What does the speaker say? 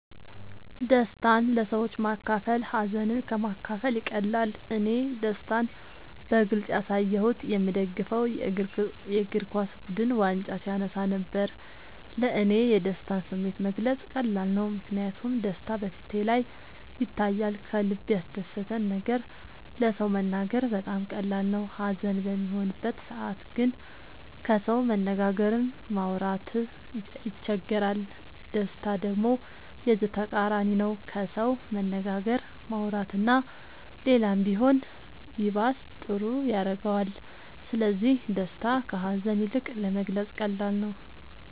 ደስታን ለሰዎች ማካፈል ሀዘንን ከ ማካፈል ይቀላል እኔ ደስታን በግልፅ ያሳየሁት የ ምደግፈው የ እግርኳስ ቡድን ዋንጫ ሲያነሳ ነበር። ለ እኔ የደስታን ስሜት መግለፅ ቀላል ነው ምክንያቱም ደስታ በ ፊቴ ላይ ይታያል ከልበ ያስደሰተን ነገር ለ ሰው መናገር በጣም ቀላል ነው ሀዘን በሚሆንበት ሰዓት ግን ከሰው መነጋገርም ማውራት ይቸግራል ደስታ ደሞ የዚ ተቃራኒ ነው ከሰው መነጋገር ማውራት እና ሌላም ቢሆን ይባስ ጥሩ ያረገዋል ስለዚ ደስታ ከ ሀዛን ይልቅ ለመግለፃ ቀላል ነው።